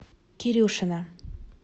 кирюшина